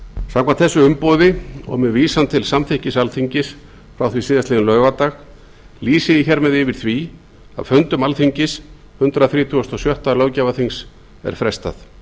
samkvæmt þessu umboði og með vísan til samþykkis alþingis frá því síðastliðinn laugardag lýsi ég hér með yfir því að fundum alþingis hundrað þrítugasta og sjötta löggjafarþings er frestað